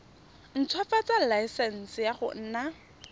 ntshwafatsa laesense ya go nna